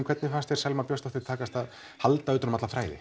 hvernig fannst þér Selmu Björnsdóttur takast að halda utanum alla þræði